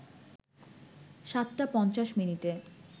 ৭ টা ৫০ মিনিটে